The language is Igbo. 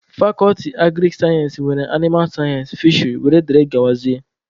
Fakọlti agrik sayensị nwere animal sayensị, fisheri wdg